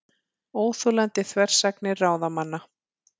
Óþolandi þversagnir ráðamanna